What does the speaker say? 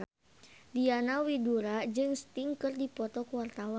Diana Widoera jeung Sting keur dipoto ku wartawan